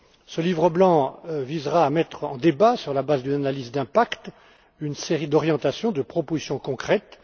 Ce livre blanc visera à mettre en débat, sur la base d'une analyse d'impact, une série d'orientations et de propositions concrètes.